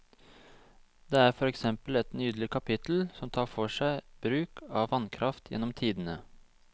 Det er for eksempel et nydelig kapittel som tar for seg bruk av vannkraft gjennom tidene.